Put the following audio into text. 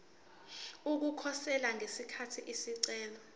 ukukhosela ngesikhathi isicelo